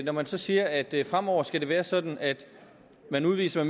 når man så siger at det fremover skal være sådan at man udviser